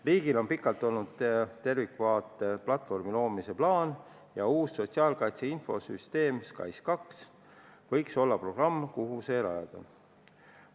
Riigil on kaua aega olnud tervikvaate platvormi loomise plaan ja uus sotsiaalkaitse infosüsteem SKAIS2 võiks olla programm, kuhu see rajada.